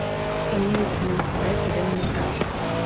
имеется ли у тебя тюремный врач